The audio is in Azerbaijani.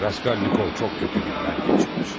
Raskolnikov çox pis günlər keçirib.